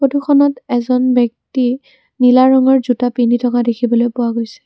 ফটোখনত এজন ব্যক্তি নীলা ৰঙৰ জোতা পিন্ধি থকা দেখা পোৱা গৈছে।